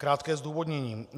Krátké zdůvodnění.